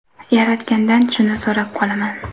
Yaratgandan shuni so‘rab qolaman.